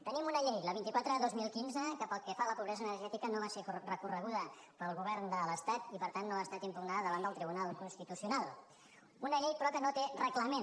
tenim una llei la vint quatre dos mil quinze que pel que fa a la pobresa energètica no va ser recorreguda pel govern de l’estat i per tant no ha estat impugnada davant del tribunal constitucional una llei però que no té reglament